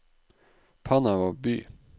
Panama by